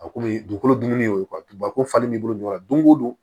A kun bɛ dugukolo dun ne y'o ye ko falen b'i bolo ɲɔ don ko don